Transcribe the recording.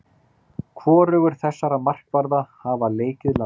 Hvorugur þessara markvarða hafa leikið landsleik.